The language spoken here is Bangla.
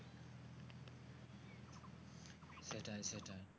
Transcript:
সেটাই সেটাই